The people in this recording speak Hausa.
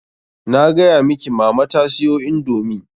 Na gaya miki mama ta siyo indomii.